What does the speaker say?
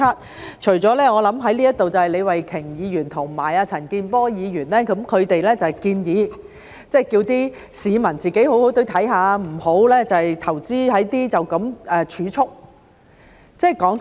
我想在這裏的，除了李慧琼議員和陳健波議員，他們建議市民好好的看，不要只投資在儲蓄。